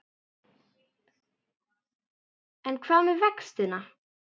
En hvað með vextina?